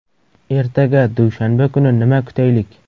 Ertaga, dushanba kuni nima kutaylik?